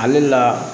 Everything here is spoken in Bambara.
Ale la